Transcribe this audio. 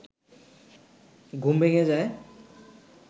ঘুম ভেঙে যায়